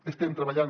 hi estem treballant